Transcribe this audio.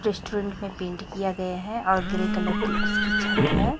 Restaurant में paint किया गया है और ग्रे कलर की उसकी छत है।